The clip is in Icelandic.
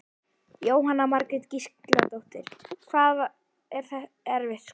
Jóhanna Margrét Gísladóttir: Hvað er erfitt skot?